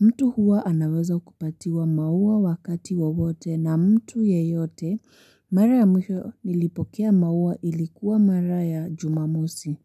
mtu huwa anaweza kupatiwa mauwa wakati wawote na mtu yeyote. Mara ya mwisho nilipokea mauwa ilikuwa mara ya jumamosi.